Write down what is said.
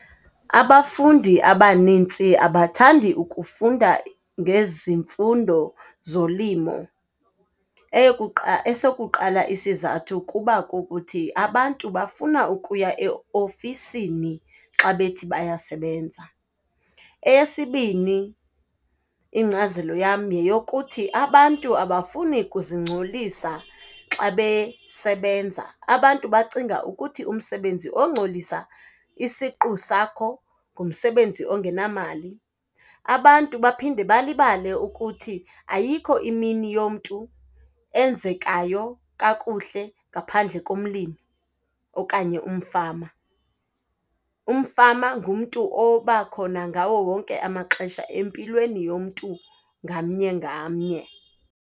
Abafundi abanintsi abathandi ukufunda ngezimfundo zolimo. Esokuqala isizathu kuba kukuthi, abantu bafuna ukuya eofisini xa bethi bayasebenza. Eyesibini ingcazelo yam yeyokuthi, abantu abafuni ukuzingcolisa xa besebenza. Abantu bacinga ukuthi umsebenzi ongcolisa isiqu sakho ngumsebenzi ongenamali. Abantu baphinde balibale ukuthi ayikho imini yomntu enzekayo kakuhle ngaphandle komlimi okanye umfama. Umfama ngumntu obakhona ngawo wonke amaxesha empilweni yomntu ngamnye ngamnye.